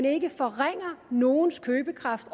ikke forringer nogens købekraft